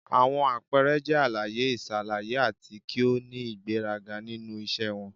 Awọn apẹẹrẹ jẹ alaye-iṣalaye ati ki o ni igberaga ninu iṣẹ wọn.